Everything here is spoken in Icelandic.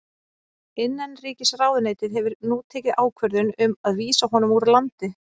Innanríkisráðuneytið hefur nú tekið ákvörðun um að vísa honum úr landi.